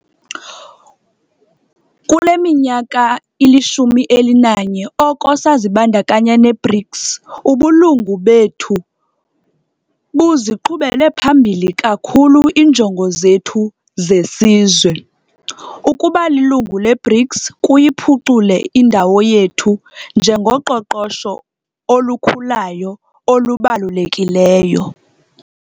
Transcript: Kule minyaka ili-11 oko sazibandakanya ne-BRICS, ubulungu bethu buziqhubele phambili kakhulu iinjongo zethu zesizwe. Ukuba lilungu le-BRICS kuyiphucule indawo yethu njengoqoqosho olukhulayo olubalulekileyo.